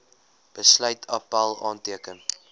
besluit appèl aanteken